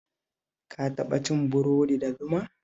Ka taɓa cin burodi da zuma?